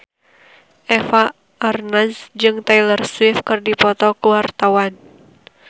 Eva Arnaz jeung Taylor Swift keur dipoto ku wartawan